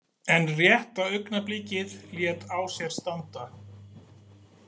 En rétta augnablikið lét á sér standa.